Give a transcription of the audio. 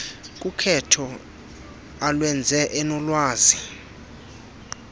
kukhetho alwenza enolwazi